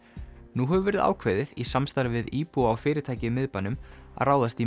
nú hefur verið ákveðið í samstarfi við íbúa og fyrirtæki í miðbænum að ráðast í